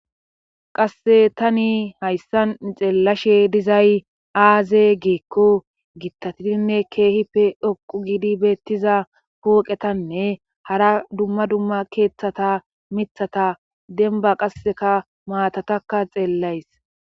qasse tani hayssan xeellashe dizay aaze giekko gittatiinne keehi pe dhoqu giidi beettiza pooqetanne hara dumma dumma keeththata mithata denba qasseka maatatakka xeellays